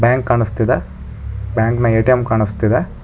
Bank ಕಾಣಿಸ್ತಿದೆ bank ನ ATM ಕಾಣಿಸ್ತಿದೆ.